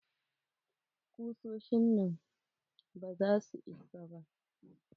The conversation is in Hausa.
Kusoshin nan ba za su isa ba.